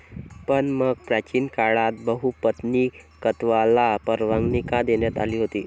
पण मग, प्राचीन काळात बहुपत्नीकत्वाला परवानगी का देण्यात आली होती?